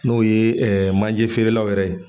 N'o ye manje feerelaw yɛrɛ ye.